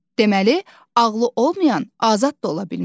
Deməli, ağlı olmayan azad da ola bilməz.